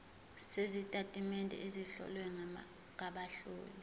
sezitatimende ezihlowe ngabahloli